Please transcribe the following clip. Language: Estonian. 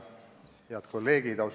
Head kolleegid!